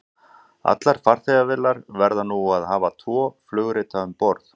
Allar farþegavélar verða nú að hafa tvo flugrita um borð.